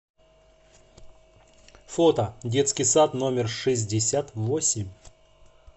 фото детский сад номер шестьдесят восемь